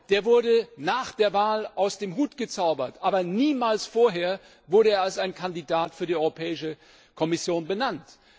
Der wurde nach der Wahl aus dem Hut gezaubert, aber niemals vorher wurde er als Kandidat für die Europäische Kommission benannt.